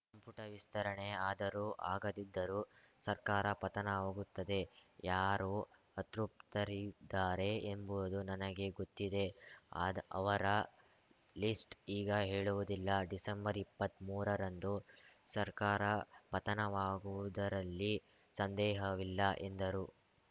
ಸಂಪುಟ ವಿಸ್ತರಣೆ ಆದರೂ ಆಗದಿದ್ದರೂ ಸರ್ಕಾರ ಪತನವಾಗುತ್ತದೆ ಯಾರು ಅತೃಪ್ತರಿದ್ದಾರೆ ಎಂಬುದು ನನಗೆ ಗೊತ್ತಿದೆ ಆದ ಅವರ ಲಿಸ್ಟ್‌ ಈಗ ಹೇಳುವುದಿಲ್ಲ ಡಿಸೆಂಬರ್ಇಪ್ಪತ್ಮೂರರಂದು ಸರ್ಕಾರ ಪತನವಾಗುವುದರಲ್ಲಿ ಸಂದೇಹವಿಲ್ಲ ಎಂದರು